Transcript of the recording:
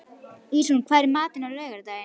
Ísrún, hvað er í matinn á laugardaginn?